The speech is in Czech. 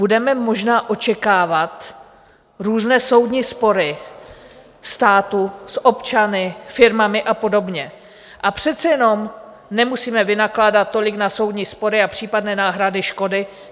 Budeme možná očekávat různé soudní spory státu s občany, firmami a podobně, a přece jenom nemusíme vynakládat tolik na soudní spory a případné náhrady škody.